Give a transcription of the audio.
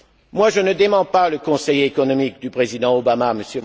Moi, je ne démens pas le conseiller économique du président Obama,